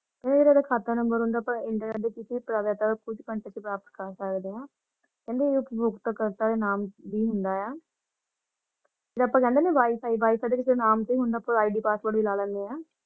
ਇਹ ਜੇਦੇ ਖਾਤਾ ਨੰਬਰ ਹੁੰਦੇ ਹਾਂ ਅੱਪਾ internet ਕੁਛ ਘੰਟੇ ਚ ਪ੍ਰਾਪਤ ਕਰ ਸਕਦੇ ਹਾਂ ਕਹਿੰਦੇ ਇਹ ਉਪਭੋਗਤਾ ਕਰਤਾ ਦੇ ਨਾਮ ਤੇ ਹੀ ਹੁੰਦਾ ਹੈ । ਫਿਰ ਅੱਪਾ ਕਹਿੰਦੇ ਨੇ Wi-Fi WiFi ਨਾਮ ਤੇ ਹੁੰਦਾ ਪੂਰਾ ID, Password ਵੀ ਲੈ ਲੈਂਦੇ ਹਾਂ ।